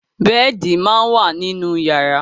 Bẹ́ẹ̀di máa ń wà nínú yàrá.